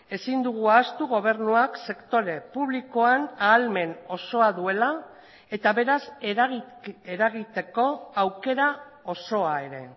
ezin dugu ahaztu gobernuak sektore publikoan ahalmen osoa duela eta beraz eragiteko aukera osoa ere